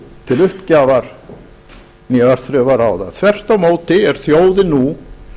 til uppgjafar né örþrifaráða þvert á móti er þjóðin nú